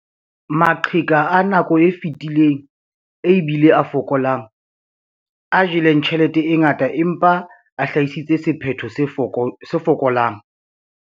Maqheka a nako e fetileng e bile a fokolang, a jeleng tjhelete e ngata empa a hlahisitse sephetho se fokolang.